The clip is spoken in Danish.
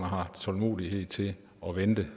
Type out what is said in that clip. har tålmodighed til at vente